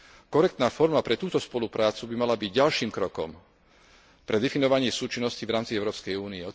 Korektná forma pre túto spoluprácu by mala byť ďalším krokom pre definovanie súčinnosti v rámci Európskej únie.